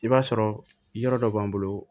I b'a sɔrɔ yɔrɔ dɔ b'an bolo